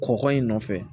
Kɔkɔ in nɔfɛ